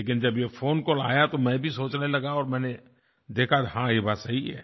लेकिन जब ये फोन कॉल आया तो मैं भी सोचने लगा और मैंने देखा कि हाँ ये बात सही है